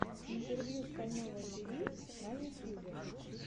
интервью стального тиви на ютюбе